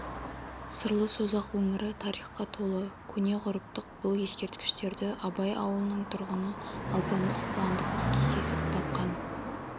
сырлы созақ өңірі тарихқа толы көне ғұрыптық бұл ескерткіштерді абай ауылының тұрғыны алпамыс қуандықов кездейсоқ тапқан